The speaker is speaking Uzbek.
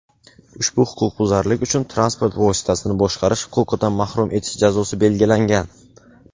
ushbu huquqbuzarlik uchun transport vositasini boshqarish huquqidan mahrum etish jazosi belgilangan.